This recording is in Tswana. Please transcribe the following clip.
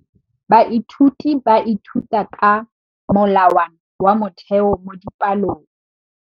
Baithuti ba ithuta ka molawana wa motheo mo dipalong.